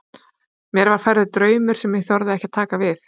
Mér var færður draumur sem ég þorði ekki að taka við.